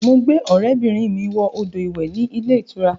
Mo gbé ọrẹ bìnrin mi wọ odò ìwẹ̀ ní ilé ìtura